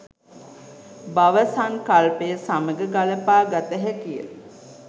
භව සංකල්පය සමඟ ගළපා ගත හැකි ය.